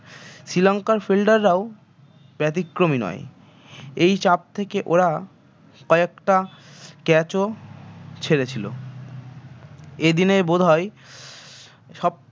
শ্রীলঙ্কার fielder রাও ব্যতীক্রম নয় এই চাপ থেকে ওরা কয়েকটা catch ও ছেড়েছিল এদিনে বোধ হয় সব